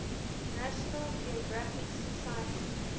national geographic society